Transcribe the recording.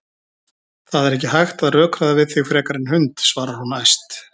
Það er ekki hægt að rökræða við þig frekar en hund, svarar hún æst.